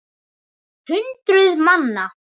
Hundruð manna.